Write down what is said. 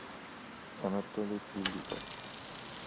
анатолий филиппов